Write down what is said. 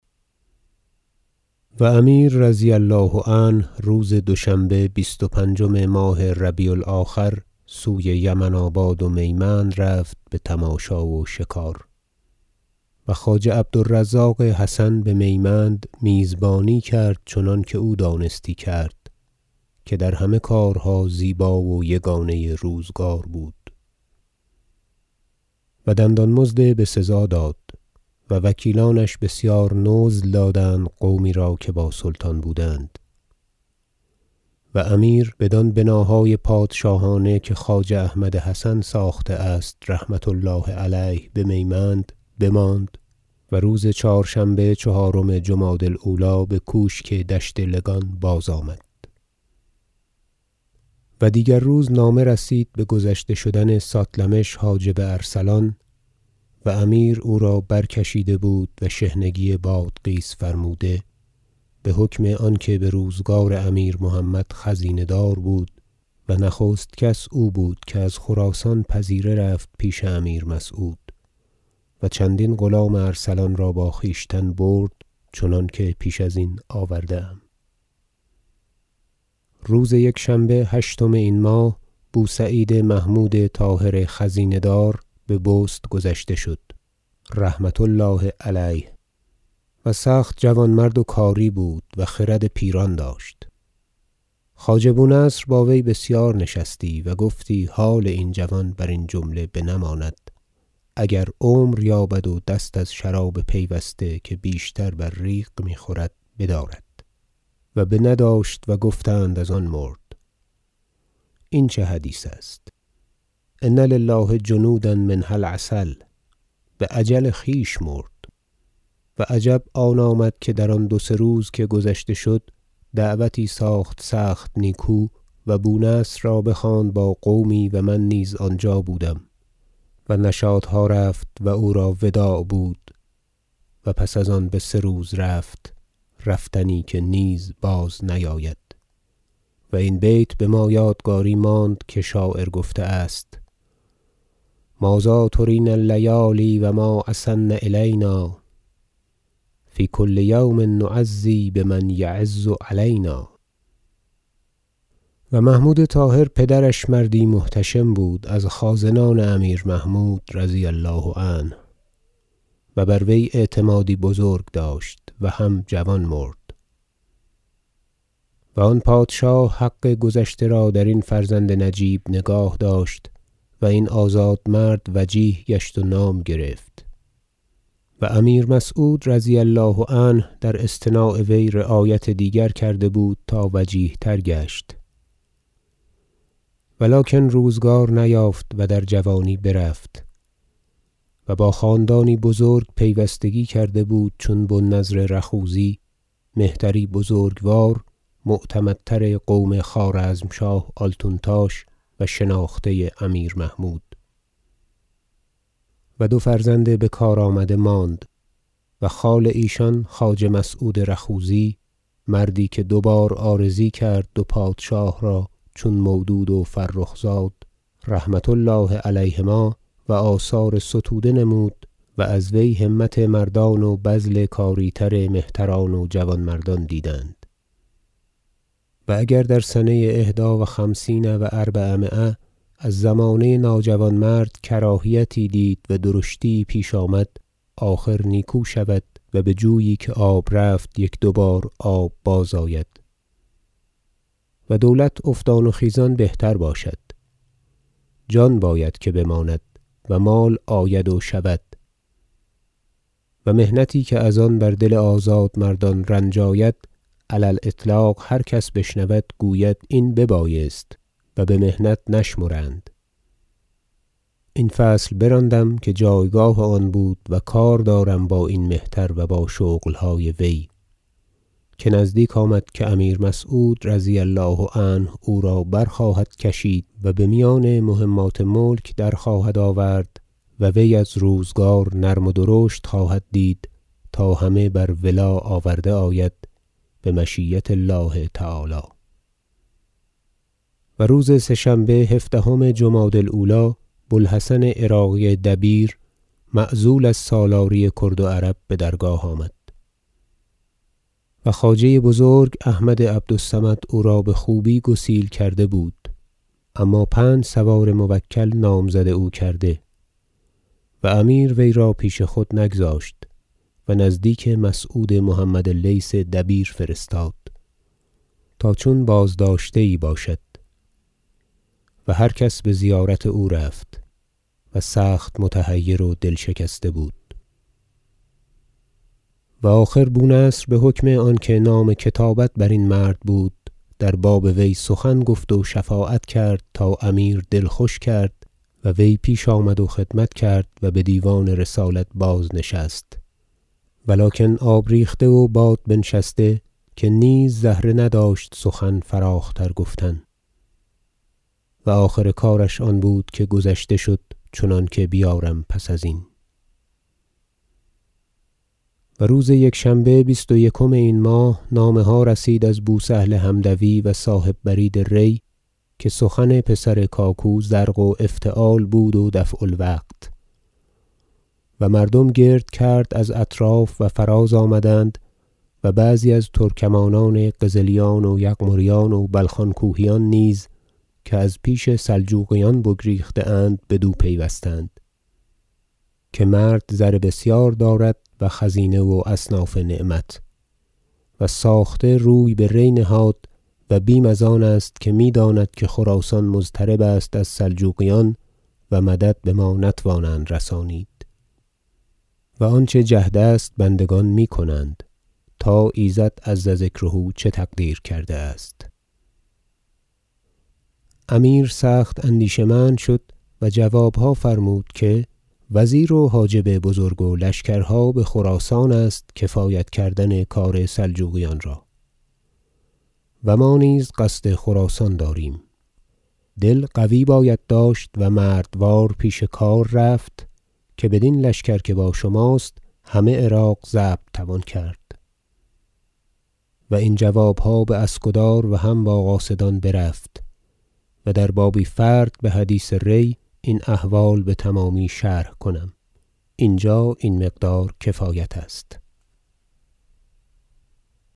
و امیر رضی الله عنه روز دوشنبه بیست و پنجم ماه ربیع الاخر سوی یمن آباد و میمند رفت به تماشا و شکار و خواجه عبد الرزاق حسن به میمند میزبانی کرد چنانکه او دانستی کرد که در همه کارها زیبا و یگانه روزگار بود و دندان مزد به سزا داد و وکیلانش بسیار نزل دادند قومی را که با سلطان بودند و امیر بدان بناهای پادشاهانه که خواجه احمد حسن ساخته است رحمة الله علیه به میمند بماند و روز چهارشنبه چهارم جمادی الاولی به کوشک دشت لگان بازآمد و دیگر روز نامه رسید به گذشته شدن ساتلمش حاجب ارسلان و امیر او را برکشیده بود و شحنگی بادغیس فرموده به حکم آنکه به روزگار امیر محمد خزینه دار بود و نخست کس او بود که از خراسان پذیره رفت پیش امیر مسعود و چندین غلام ارسلان را با خویشتن برد چنانکه پیش ازین آورده ام روز یکشنبه هشتم این ماه بوسعید محمود طاهر خزینه دار به بست گذشته شد رحمة الله علیه و سخت جوانمرد و کاری بود و خرد پیران داشت خواجه بونصر با وی بسیار نشستی و گفتی حال این جوان برین جمله بنماند اگر عمر یابد و دست از شراب پیوسته که بیشتر بر ریق می خورد بدارد و بنه داشت و گفتند از آن مرد این چه حدیث است إن لله جنودا منها العسل به اجل خویش مرد و عجب آن آمد که در آن دو سه روز که گذشته شد دعوتی ساخت سخت نیکو و بونصر را بخواند با قومی و من نیز آنجا بودم و نشاطها رفت و او را وداع بود و پس از آن به سه روز رفت رفتنی که نیز باز نیاید و این بیت به ما یادگاری ماند که شاعر گفته است شعر ما ذا ترینا اللیالی و ما اسن الینا فی کل یوم نعزی بمن یعز علینا و محمود طاهر پدرش مردی محتشم بود از خازنان امیر محمود رضی الله عنه و بر وی اعتمادی بزرگ داشت و هم جوان مرد و آن پادشاه حق گذشته را در این فرزند نجیب نگاه داشت و این آزادمرد وجیه گشت و نام گرفت و امیر مسعود رضی الله عنه در اصطناع وی رعایت دیگر کرده بود تا وجیه تر گشت ولکن روزگار نیافت و در جوانی برفت و با خاندانی بزرگ پیوستگی کرده بود چون بو النضر رخوذی مهتری بزرگوار معتمدتر قوم خوارزمشاه آلتونتاش و شناخته امیر محمود و دو فرزند به کار آمده ماند و خال ایشان خواجه مسعود رخوذی مردی که دو بار عارضی کرد و پادشاه را چون مودود و فرخ زاد رحمة الله علیهما و آثار ستوده نمود و از وی همت مردان و بذل کاری تر مهتران و جوانمردان دیدند و اگر در سنه احدی و خمسین و اربعمایه از زمانه ناجوانمرد کراهیتی دید و درشتی یی پیش آمد آخر نیکو شود و بجویی که آب رفت یک دوبار آب بازآید و دولت افتان و خیزان بهتر باشد جان باید که بماند و مال آید و شود و محنتی که از آن بر دل آزادمردان رنج آید علی الإطلاق هر کس بشنود گوید این به بایست و به محنت نشمرند این فصل براندم که جایگاه آن بود و کار دارم با این مهتر و با شغل های وی که نزدیک آمد که امیر مسعود رضی الله عنه او را برخواهد کشید و به میان مهمات ملک درخواهد آورد و وی از روزگار نرم و درشت خواهد دید تا همه بر ولا آورده آید بمشیة الله تعالی آمدن عراقی بدرگاه و نامه بو سهل حمدونی و روز سه شنبه هفدهم جمادی الاولی بوالحسن عراقی دبیر معزول از سالاری کرد و عرب به درگاه آمد و خواجه بزرگ احمد عبد الصمد او را به خوبی گسیل کرده بود اما پنج سوار موکل نامزد او کرده و امیر وی را پیش خود نگذاشت و نزدیک مسعود محمد لیث دبیر فرستاد تا چون بازداشته یی باشد و هر کسی به زیارت او رفت و سخت متحیر و دل شکسته بود و آخر بونصر به حکم آنکه نام کتابت برین مرد بود در باب وی سخن گفت و شفاعت کرد تا امیر دل خوش کرد و وی پیش آمد و خدمت کرد و به دیوان رسالت بازنشست ولکن آب ریخته و باد بنشسته که نیز زهره نداشت سخن فراختر گفتن و آخر کارش آن بود که گذشته شد چنانکه بیارم پس ازین و روز یکشنبه بیست و یکم این ماه نامه ها رسید از بوسهل حمدوی و صاحب برید ری که سخن پسر کاکو زرق و افتعال بود و دفع الوقت و مردم گرد کرد از اطراف و فراز آمدند و بعضی از ترکمانان قزلیان و یغمریان و بلخان کوهیان نیز که از پیش سلجوقیان بگریخته اند بدو پیوستند که مرد زر بسیار دارد و خزانه و اصناف نعمت و ساخته روی به ری نهاد و بیم از آن است که می داند که خراسان مضطرب است از سلجوقیان و مدد به ما نتوانند رسانید و آنچه جهد است بندگان می کنند تا ایزد عز ذکره چه تقدیر کرده است امیر سخت اندیشه مند شد و جوابها فرمود که وزیر و حاجب بزرگ و لشکرها به خراسان است کفایت کردن کار سلجوقیان را و ما نیز قصد خراسان داریم دل قوی باید داشت و مردوار پیش کار رفت که بدین لشکر که با شماست همه عراق ضبط توان کرد و این جوابها باسکدار و هم با قاصدان برفت و در بابی فرد به حدیث ری این احوال به تمامی شرح کنم اینجا این مقدار کفایت است